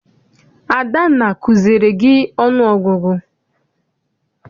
Adanna akuziere gị ọnụ ọgụgụ?